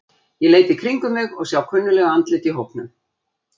Ég leit í kringum mig og sá kunnugleg andlit í hópnum.